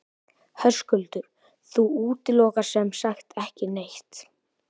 Höskuldur: Þú útilokar sem sagt ekki neitt?